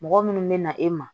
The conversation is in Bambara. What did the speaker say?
Mɔgɔ minnu bɛ na e ma